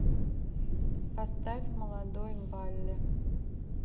поставь молодой валли